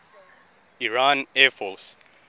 iran air force